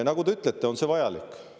Nagu te ütlete, on see vajalik.